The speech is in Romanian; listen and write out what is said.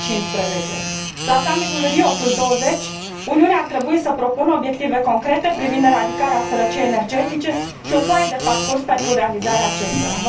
2015. La summit ul Rio20, Uniunea ar trebui să propună obiective concrete privind eradicarea sărăciei energetice și o foaie de parcurs pentru realizarea acestora.